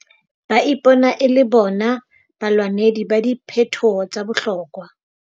Ba ipona e le bona balwanedi ba diphetoho tsa bohlokwa.